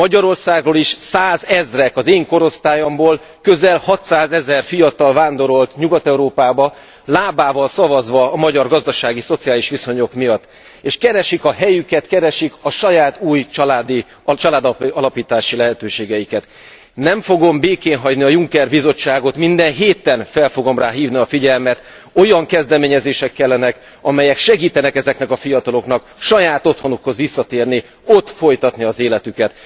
Magyarországról is százezrek, az én korosztályomból közel hatszázezer fiatal vándorolt Nyugat Európába, lábával szavazva a magyar gazdasági szociális viszonyok miatt, és keresik a helyüket, keresik a saját új családalapítási lehetőségeiket. Nem fogom békén hagyni a Juncker Bizottságot, minden héten fel fogom rá hívni a figyelmet, olyan kezdeményezések kellenek, amelyek segítenek ezeknek a fiataloknak saját otthonukhoz visszatérni, ott folytatni az életüket.